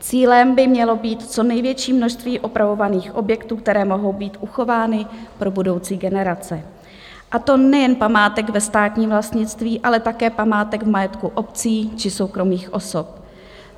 Cílem by mělo být co největší množství opravovaných objektů, které mohou být uchovány pro budoucí generace, a to nejen památek ve státním vlastnictví, ale také památek v majetku obcí či soukromých osob.